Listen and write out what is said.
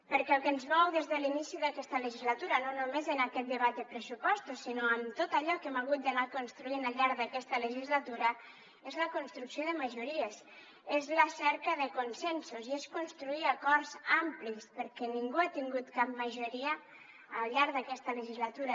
perquè el que ens mou des de l’inici d’aquesta legislatura no només en aquest debat de pressupostos sinó en tot allò que hem hagut d’anar construint al llarg d’aquesta legislatura és la construcció de majories és la cerca de consensos i és construir acords amplis perquè ningú ha tingut cap majoria al llarg d’aquesta legislatura